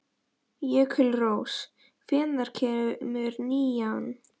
Jökulrós, hvenær kemur nían?